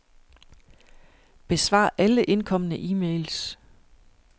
Besvar alle indkomne e-mails.